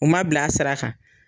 U ma bila a sira kan.